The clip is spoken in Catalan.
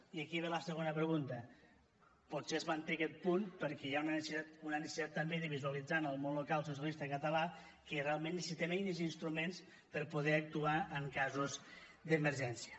i aquí ve la segona pregunta potser es manté aquest punt perquè hi ha una necessitat també de visualitzar en el món local socialista català que realment necessitem eines i instruments per poder actuar en casos d’emergència